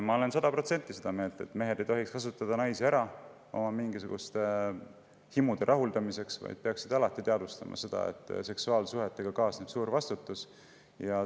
Ma olen sada protsenti seda meelt, et mehed ei tohiks kasutada naisi ära oma mingisuguste himude rahuldamiseks, vaid peaksid alati teadvustama seda, et seksuaalsuhetega kaasneb suur vastutus.